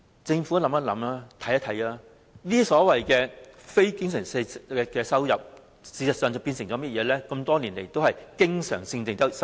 政府可曾研究一下，這些非經常性收入，事實上在過去多年來已變成經常性收入？